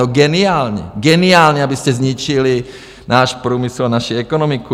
No geniální, geniální, abyste zničili náš průmysl a naši ekonomiku.